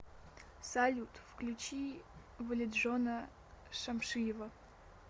салют включи валиджона шамшиева